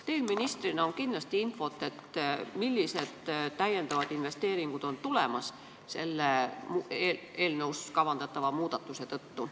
Teil ministrina on kindlasti infot, millised investeeringud on veel tulemas selle eelnõus kavandatava muudatuse tõttu.